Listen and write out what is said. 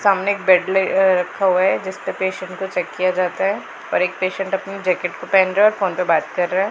सामने एक बेड ले अह रखा हुआ है जिसपे पेशेंट को चेक किया जाता है और एक पेशेंट अपनी जैकेट को पहन रहा है और फोन पे बात कर रहा है।